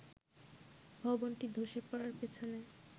ভবনটি ধসে পড়ার পেছনে